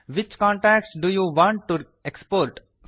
which contacts do you want to export